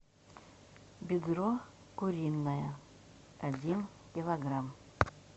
бедро куриное один килограмм